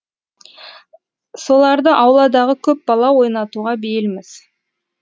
соларды ауладағы көп бала ойнатуға бейілміз